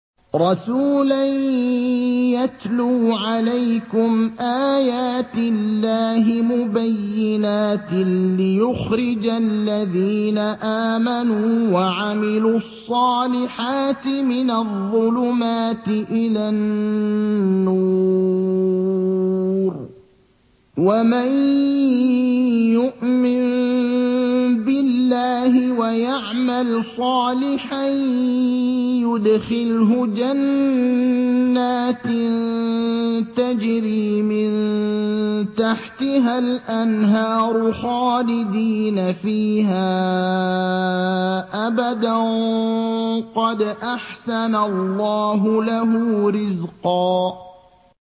رَّسُولًا يَتْلُو عَلَيْكُمْ آيَاتِ اللَّهِ مُبَيِّنَاتٍ لِّيُخْرِجَ الَّذِينَ آمَنُوا وَعَمِلُوا الصَّالِحَاتِ مِنَ الظُّلُمَاتِ إِلَى النُّورِ ۚ وَمَن يُؤْمِن بِاللَّهِ وَيَعْمَلْ صَالِحًا يُدْخِلْهُ جَنَّاتٍ تَجْرِي مِن تَحْتِهَا الْأَنْهَارُ خَالِدِينَ فِيهَا أَبَدًا ۖ قَدْ أَحْسَنَ اللَّهُ لَهُ رِزْقًا